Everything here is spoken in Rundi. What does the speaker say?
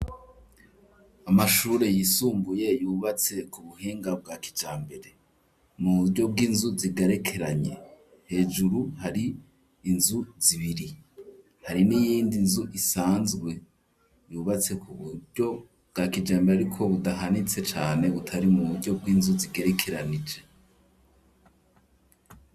Amashure yisumbuye yubatse ku buhinga bwa kijambere, mu buryo bw'inzu zigerekeranye. Hejuru hari inzu zibiri. Hari n'iyindi nzu isanzwe yubatse ku buryo bwa kijambere ariko budahanitse cane, butari mu buryo bw'inzu zigerekeranije.